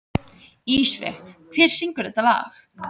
Ísveig, hver syngur þetta lag?